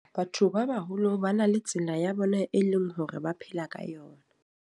Batho ba baholo ba na le tsela ya bona e leng hore ba phela ka yona.